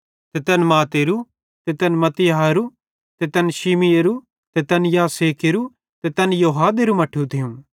ते तैन मत्तातेरो ते तै मत्तित्याहेरू ते तैन शिमीएरू ते तैन योसेखेरू ते तैन योदाहेरू मट्ठू थियूं